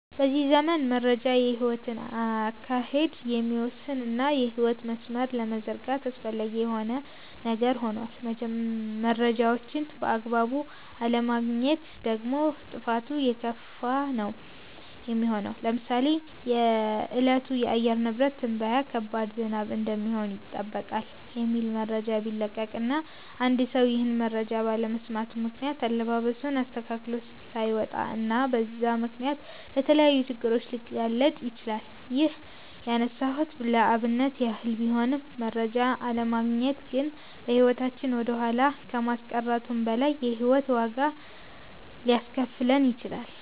በዚህ ዘመን መረጃ የህይወትን አካሄድ የሚወስን እና የህይወት መስመርን ለመዘርጋት አስፈላጊ የሆነ ነገር ሆኗል። መረጃዎችን በአግባቡ አለማግኘት ደግሞ ጥፋቱ የከፋ ነው የሚሆነው። ለምሳሌ የእለቱ የአየር ንብረት ትንበያ ከባድ ዝናብ እንደሚሆን ይጠበቃል የሚል መረጃ ቢለቀቅ እና አንድ ሰው ይህን መረጃ ባለመስማቱ ምክነያት አለባበሱን አስተካክሎ ላይወጣ እና በዛም ምክንያት ለተለያዩ ችግሮች ሊጋለጥ ይችላል። ይህን ያነሳሁት ለአብነት ያህል ቢሆንም መረጃ አለማግኘት ግን በህይወታችን ወደኋላ ከማስቀረቱም በላይ የህይወት ዋጋ ሊያስከፍለን ይችላል።